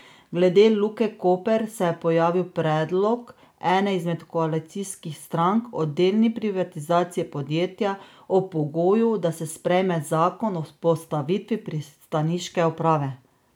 Glede Luke Koper se je pojavil predlog ene izmed koalicijskih strank o delni privatizaciji podjetja ob pogoju, da se sprejme zakon o vzpostavitvi pristaniške uprave.